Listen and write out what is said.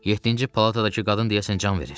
Yeddinci palatadakı qadın deyəsən can verir.